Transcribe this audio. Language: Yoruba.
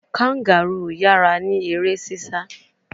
Kangaroo yara ni ere sisa